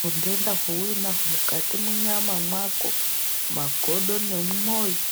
hundenda hwaunahwo mukati myama mako mumagodo nemumoyo.